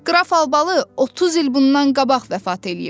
Qraf Albalı 30 il bundan qabaq vəfat eləyib.